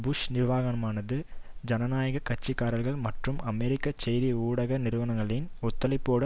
push நிர்வாகமானது ஜனநாயக கட்சி காரர்கள் மற்றும் அமெரிக்க செய்தி ஊடக நிறுவனங்களின் ஒத்துழைப்போடு